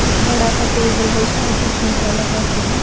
एक बड़ा सा टेबल है इसको ऊपर शीशा लगा के है।